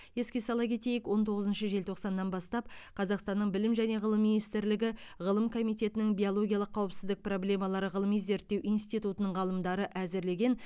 еске сала кетейік он тоғызыншы желтоқсаннан бастап қазақстанның білім және ғылым министрлігі ғылым комитетінің биологиялық қауіпсіздік проблемалары ғылыми зерттеу институтының ғалымдары әзірлеген